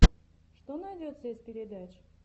что найдется из передач